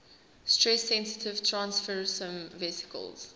stress sensitive transfersome vesicles